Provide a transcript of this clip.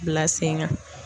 Bila sen ŋan